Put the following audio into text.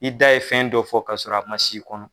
I da ye fɛn dɔ fɔ ka sɔrɔ a man s'i kɔnɔ.